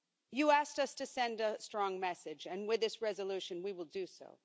You asked us to send a strong message and, with this resolution, we will do so.